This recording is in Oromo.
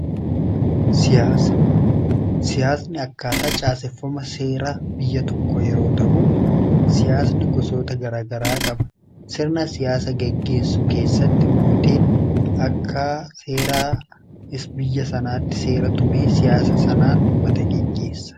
siyaasni akkaataa caaseffama seera biyya tokko yeroo ta'uu siyaasni gosoota garaagaraa qaba sirna siyaasa geggeessu keessatti mootiin akka seeraa is biyya sanaatti seera tumee siyaasa sanaan uummata geggeessa